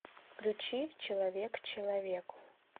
включи человек человеку